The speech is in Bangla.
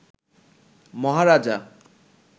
মহারাজা